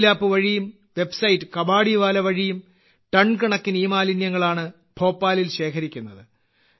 mobile app വഴിയും website Kabadiwala വഴിയും ton കണക്കിന് ഇമാലിന്യങ്ങളാണ് ഭോപ്പാലിൽ ശേഖരിക്കുന്നത്